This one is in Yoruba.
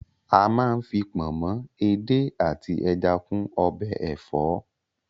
A má ń fi pọ̀nmọ́, edé àti ẹja kún ọbẹ̀ ẹ̀fọ́.